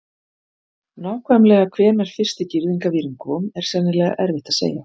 Nákvæmlega hvenær fyrsti girðingarvírinn kom er sennilega erfitt að segja.